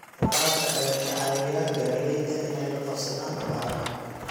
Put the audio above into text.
Waraabka ayaa ka caawiya beeralayda inay la qabsadaan abaaraha.